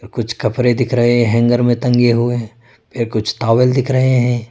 कुछ कपरे दिख रहे हैंगर में टंगे हुए फिर कुछ टॉवेल दिख रहे है।